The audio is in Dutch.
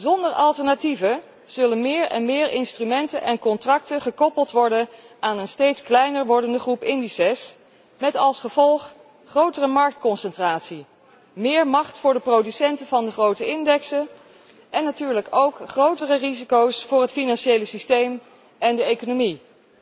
Zonder alternatieven zullen meer en meer instrumenten en contracten gekoppeld worden aan een steeds kleiner wordende groep indexen, met als gevolg grotere marktconcentratie, meer macht voor de producenten van de grote indexen en natuurlijk ook grotere risico's voor het financiële systeem en de economie.